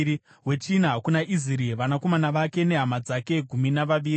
wechina kuna Iziri, vanakomana vake nehama dzake—gumi navaviri;